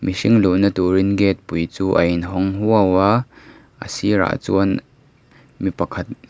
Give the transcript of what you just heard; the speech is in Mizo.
mihring luhna turin gate pui chu a in hawng huau a a sirah chuan mipa khat ah--